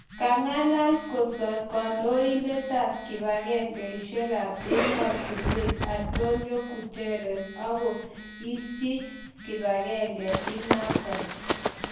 kangalal kosur kandoindetap kipagengeisiekap-ematunwek Antonio Guterres ango-eech kipagengee inaton